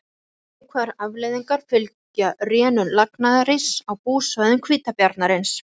Fleiri neikvæðar afleiðingar fylgja rénun lagnaðaríss á búsvæðum hvítabjarnarins.